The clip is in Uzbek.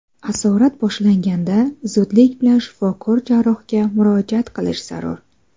Asorat boshlanganda zudlik bilan shifokor jarrohga murojaat qilish zarur.